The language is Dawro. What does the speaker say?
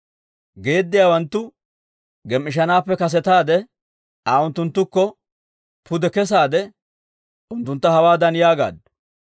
Geediyawanttu gem"ishanaappe kasetaade, Aa unttunttukko pude kesaade, unttuntta hawaadan yaagaaddu;